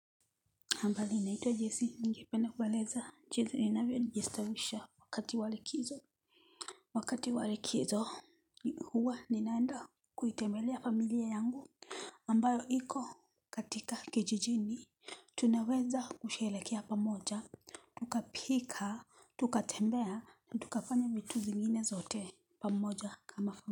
Hambali naitwa jessi ningependa kuwaeleza jinsi ninawvyo jistawisha wakati wa likizo Wakati wa likizo huwa ninaenda kuitembelea familia yangu ambayo iko katika kijijini Tunaweza kushelehekea pamoja Tukapika tukatembea na tukafanya vitu zingine zote pamoja kama.